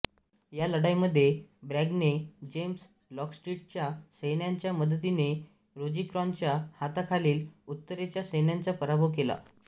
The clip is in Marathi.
या लढाईमध्ये ब्रॅगने जेम्स लॉंगस्ट्रीटच्या सैन्याच्या मदतीने रोजिक्रॅनच्या हाताखालिल उत्तरेच्या सैन्याचा पराभव केला